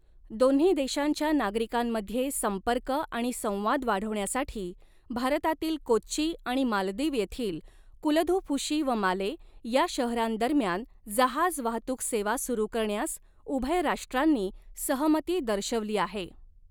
दोन्ही देशांच्या नागरीकांमध्ये संपर्क आणि संवाद वाढवण्यासाठी भारतातील कोच्ची आणि मालदीव येथील कुलधुफ़ुशी व माले या शहरांदरम्यान जहाज वाहतूक सेवा सुरु करण्यास उभय राष्ट्रांनी सहमती दर्शवली आहे.